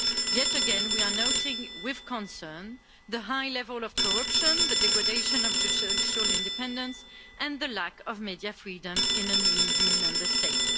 Yet again, we are noting with concern the high level of corruption, the degradation of judicial independence and the lack of media freedom in an EU Member State.